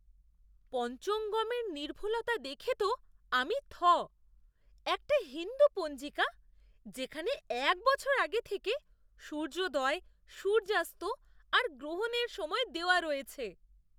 পঞ্চঙ্গমের নির্ভুলতা দেখে তো আমি থ! একটা হিন্দু পঞ্জিকা যেখানে এক বছর আগে থেকে সূর্যোদয়, সূর্যাস্ত আর গ্রহণের সময় দেওয়া রয়েছে।